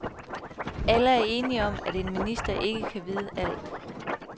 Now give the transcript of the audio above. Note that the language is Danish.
Alle er enige om, at en minister ikke kan vide alt.